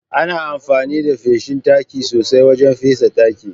Ana amfani da ma feshin taki sosai wajen fesa taki.